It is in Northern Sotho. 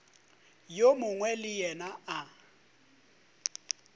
yo mongwe le yena a